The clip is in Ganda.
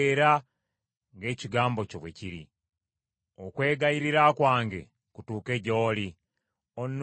Okwegayirira kwange kutuuke gy’oli, onnunule nga bwe wasuubiza.